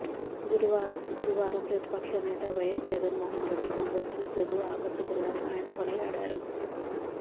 గురువారం ప్రతిపక్షనేత వైఎస్ జగన్ మోహన్ రెడ్డి కనబరిచిన తెగువ ఆకట్టుకుందని ఆయన కొనియాడారు